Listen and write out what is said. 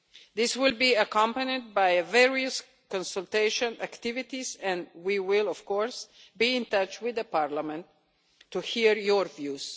This will be accompanied by various consultation activities and we will, of course, be in touch with Parliament to hear your views.